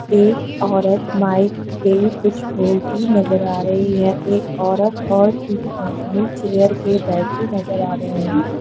एक औरत माइक पे कुछ बोलती नजर आ रही है एक औरत और तीन आदमी चेयर पे बैठे नजर आ रहे है।